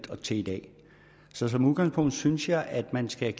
og et til i dag så som udgangspunkt synes jeg at man skal